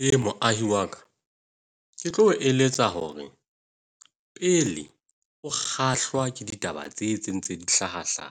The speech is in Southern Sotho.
he moahi wa ka, ke tlo o eletsa hore pele o kgahlwa ke ditaba tse tse ntse dihlaha hlaha.